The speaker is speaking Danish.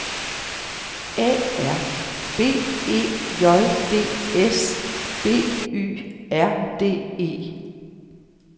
A R B E J D S B Y R D E